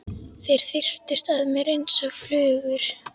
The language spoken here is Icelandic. Þeir þyrptust að mér einsog flugur.